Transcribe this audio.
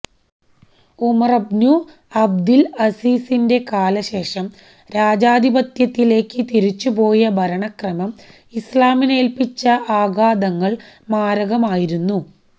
ഉമറുബ്നു അബ്ദില് അസീസിന്റെ കാലശേഷം രാജാധിപത്യത്തിലേക്ക് തിരിച്ചുപോയ ഭരണക്രമം ഇസ്ലാമിനേല്പിച്ച ആഘാതങ്ങള് മാരകമായിരുന്നു